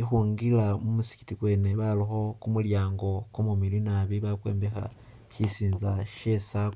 ikhungwila mu musigiti kwene barakho kumulyango kumumiliyu nabi bakwombekha shisinza she circle